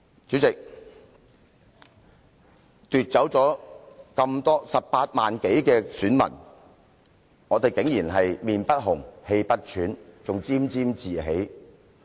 主席，對於奪走了18萬多名選民的選擇，你們竟然臉不紅、氣不喘，更沾沾自喜。